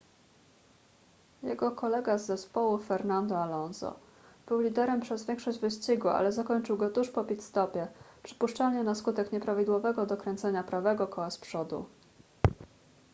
jego kolega z zespołu fernando alonso był liderem przez większość wyścigu ale zakończył go tuż po pit-stopie przypuszczalnie na skutek nieprawidłowego dokręcenia prawego koła z przodu